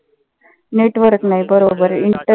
network नाही बरोबर